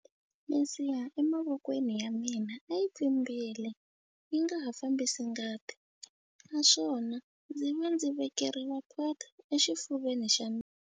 Misiha emavokweni ya mina a yi pfimbile yi nga ha fambisi ngati naswona ndzi ve ndzi vekeriwa port exifuveni xa mina.